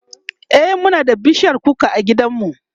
e Muna da bishiyar kuka a gidan mu